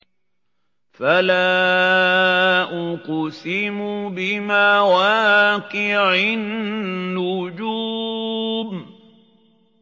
۞ فَلَا أُقْسِمُ بِمَوَاقِعِ النُّجُومِ